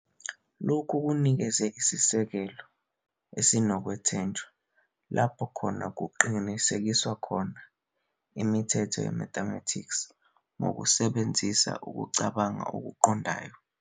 Lokhu kunikeze isisekelo esinokwethenjelwa lapho kungaqinisekiswa khona imithetho yemathematics ngokusebenzisa ukucabanga okuqondayo.